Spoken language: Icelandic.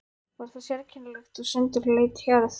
Var það sérkennileg og sundurleit hjörð.